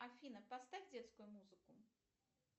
афина поставь детскую музыку